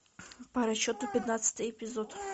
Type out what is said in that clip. по расчету пятнадцатый эпизод